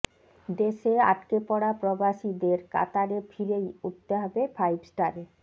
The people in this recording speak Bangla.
দেশে আটকেপড়া প্রবাসীদের কাতারে ফিরেই উঠতে হবে ফাইভ স্টারে